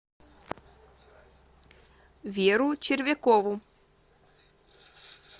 веру червякову